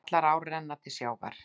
Allar ár renna til sjávar.